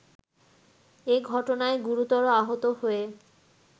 এঘটনায় গুরুতর আহত হয়ে